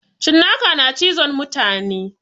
Cinaka na cizon mutane